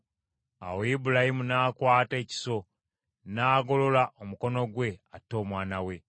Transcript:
Awo Ibulayimu n’akwata ekiso, n’agolola omukono gwe atte omwana we.